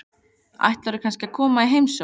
Ætlarðu kannski að koma í heimsókn?